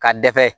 Ka dɛsɛ